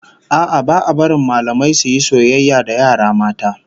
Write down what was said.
A'a, ba a barin mallamai su yi soyayya da yara mata